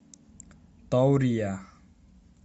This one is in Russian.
таурия